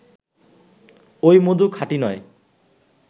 ওই মধু খাঁটি নয়